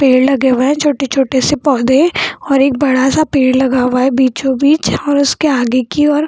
पेड़ लगे हुए हैं छोटे-छोटे से पौधे और एक बड़ा-सा पेड़ लगा हुआ है बीचो-बीच और उसके आगे की ओर --